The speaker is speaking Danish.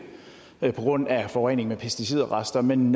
på grund af forurening med pesticidrester men